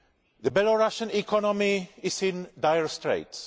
The Belorussian economy is in dire straits.